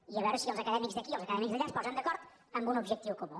i a veure si els acadèmics d’aquí i els acadèmics d’allà es posen d’acord en un objectiu comú